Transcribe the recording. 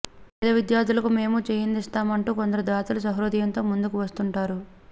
పేద విద్యార్థులకు మేమూ చేయందిస్తామంటూ కొందరు దాతలు సహృదయంతో ముందుకు వస్తుంటారు